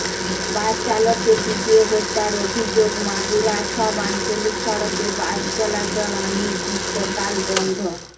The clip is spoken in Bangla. বাসচালককে পিটিয়ে হত্যার অভিযোগ মাগুরার সব আঞ্চলিক সড়কে বাস চলাচল অনির্দিষ্টকাল বন্ধ